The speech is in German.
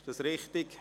Ist dies richtig?